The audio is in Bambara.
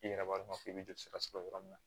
I yɛrɛ b'a dɔn k'i bɛ joli sira sɔrɔ yɔrɔ min na